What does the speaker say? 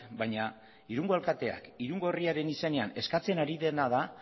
baina irungo alkateak irungo herriaren izenean eskatzen ari dena den